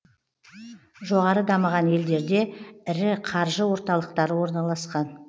жоғары дамыған елдерде ірі қаржы орталықтары орналасқан